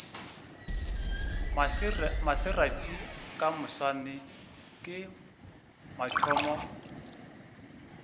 maserati ka moswane ke mathomo